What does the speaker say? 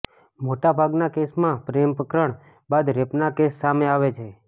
મોટા ભાગના કેસમાં પ્રેમ પ્રકરણ બાદ રેપનાં કેસ સામે આવે છે